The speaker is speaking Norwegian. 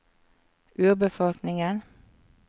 urbefolkningen